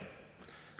Jah.